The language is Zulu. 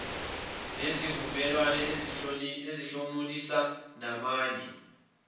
nezivumelwano ezizosihlomulisa namanye